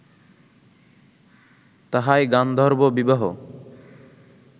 তাহাই গান্ধর্ব বিবাহ